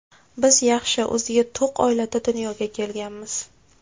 Biz yaxshi, o‘ziga to‘q oilada dunyoga kelganmiz.